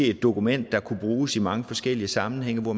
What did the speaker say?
et dokument der kunne bruges i mange forskellige sammenhænge og